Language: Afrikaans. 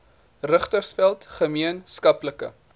richtersveld gemeen skaplike